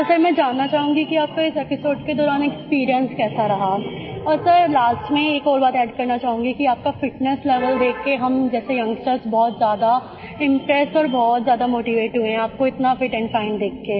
तो सर मैं जानना चाहूंगी कि आपको इस एपिसोड के दौरान एक्सपीरियंस कैसा रहा और सिर लास्ट में एक बात और अद्द करना चाहूंगी कि आपका फिटनेस लेवेल देख कर हम जैसे यंगस्टर बहुत ज्यादा इम्प्रेस और बहुत ज्यादा मोटीवेट हुए हैं आपको इतना फिट एंड फाइन देखकर